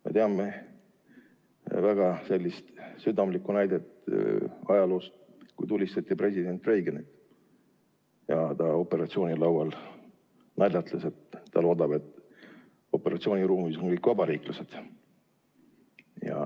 Me teame väga hästi üht südamlikku näidet ajaloost, kui tulistati president Reaganit ja ta operatsioonilaual naljatles, et loodab, et operatsiooniruumis on kõik vabariiklased.